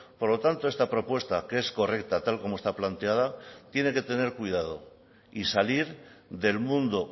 por lo tanto esta propuesta que es correcta tal como está planteada tiene que tener cuidado y salir del mundo